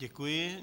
Děkuji.